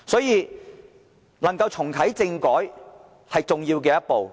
因此，重啟政改是重要的一步。